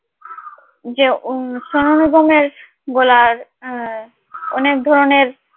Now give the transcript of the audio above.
যে সোনু নিগমের গলার অনেক ধরনের